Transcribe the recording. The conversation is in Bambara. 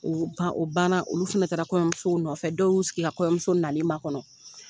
O ba o ban na olu fana taara kɔɲɔmusow nɔfɛ dɔw y'u sigi ka kɔɲɔmuso nali makɔnɔ.